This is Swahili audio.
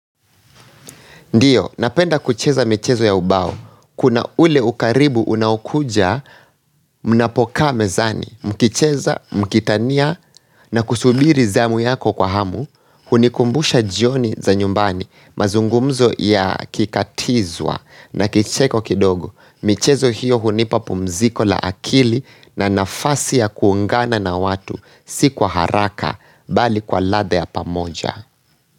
Ndiyo, napenda kucheza michezo ya ubao. Kuna ule ukaribu unaokuja, mnapo kaa mezani, mkicheza, mkitania, na kusubiri zamu yako kwa hamu, hunikumbusha jioni za nyumbani, mazungumzo ya kikatizwa, na kicheko kidogo. Michezo hiyo hunipa pumziko la akili na nafasi ya kuungana na watu, si kwa haraka, bali kwa ladha ya pamoja.